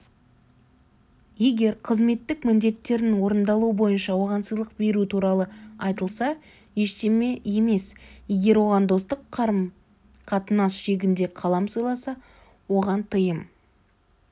егер қызметтік міндеттерінің орындалуы бойынша оған сыйлық беру туралы айтылса ештеме емес егер оған достық қатынас шегінде қалам сыйласа оған тыйым